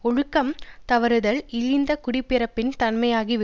ஒழுக்கம் தவறுதல் இழிந்த குடிப்பிறப்பின் தன்மையாகி விடும்